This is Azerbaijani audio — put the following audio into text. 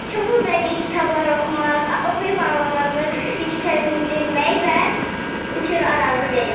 Çoxlu bədii kitablar oxumaq, oxuyub anlamanı yüksəldirmək və kür arazı verib.